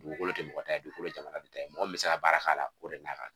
Dugukolo ti mɔgɔ ta ye dugukolo ye jamana de ta ye, mɔgɔ min bɛ se ka baara k'a l'a o de n'a ka kan